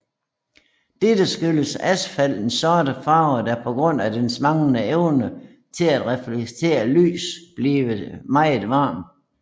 Dette skyldes asfaltens sorte farve der på grund af dens manglende evne til at reflektere lys bliver meget varmt